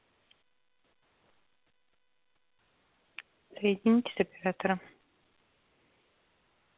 соедините с оператором